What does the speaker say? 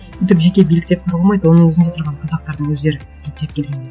өйтіп жеке билік деп қарауға болмайды оның өзінде тұрған қазақтардың өздері түптеп келгенде